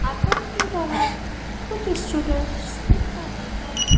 अंतर की तरफ कुछ स्टूडेंट्स दिख रहे हैं।